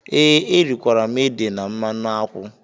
Ee, erikwara m ede na mmanụ Akwu.